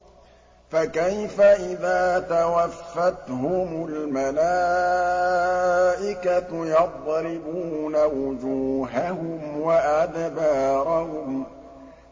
فَكَيْفَ إِذَا تَوَفَّتْهُمُ الْمَلَائِكَةُ يَضْرِبُونَ وُجُوهَهُمْ وَأَدْبَارَهُمْ